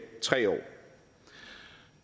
tre år